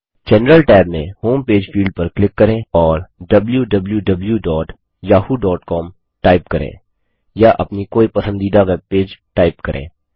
general tab में homepage field पर click करें और wwwyahoocom टाइप करें या अपनी कोई पसंदीदा वेबपेज टाइप करें